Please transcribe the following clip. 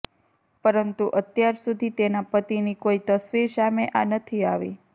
પરંતુ અત્યાર સુધી તેના પતિની કોઈ તસવીર સામે નથી આવી